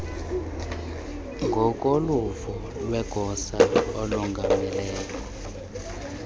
ngokoluvo lwegosa elongameleyo